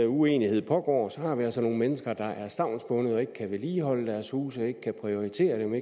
uenighed pågår har vi altså nogle mennesker der er stavnsbundet og ikke kan vedligeholde deres huse ikke kan prioritere dem